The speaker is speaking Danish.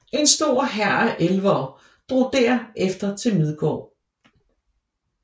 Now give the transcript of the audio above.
En stor hær af elvere drog derefter til Midgård